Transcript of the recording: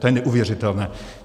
To je neuvěřitelné!